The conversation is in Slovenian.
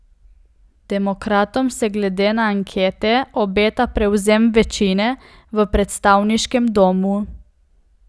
Demokratom se glede na ankete obeta prevzem večine v predstavniškem domu.